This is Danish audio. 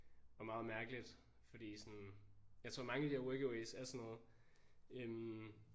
Og meget mærkeligt fordi sådan. Jeg tror mange af de der workaways er sådan noget øh